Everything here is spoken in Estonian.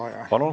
Palun!